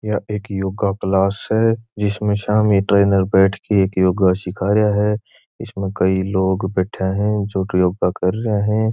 यह एक योगा क्लास है जिसमे सामी ट्रेनर बैठ के एक योगा सीखा रिया है इसमें कई लोग बैठे है जो योगा कर रहे है।